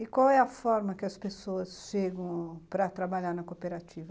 E qual é a forma que as pessoas chegam para trabalhar na cooperativa?